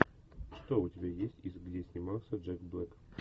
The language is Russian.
что у тебя есть из где снимался джек блэк